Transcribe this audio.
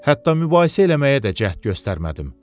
Hətta mübahisə eləməyə də cəhd göstərmədim.